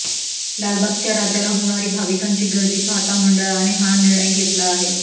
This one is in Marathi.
लालबागच्या राजाला होणारी भाविकांची गर्दी पाहता मंडळाने हा निर्णय घेतला आहे